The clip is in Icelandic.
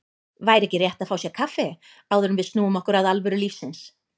Væri ekki rétt að fá sér kaffi, áður en við snúum okkur að alvöru lífsins.